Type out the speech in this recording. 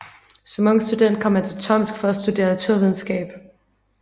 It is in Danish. Som ung student kom han til Tomsk for at studerede naturvidenskab